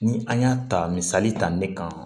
Ni an y'a ta misali ta ne kan